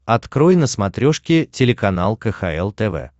открой на смотрешке телеканал кхл тв